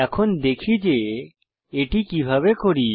এখন দেখি যে এটি কিভাবে করি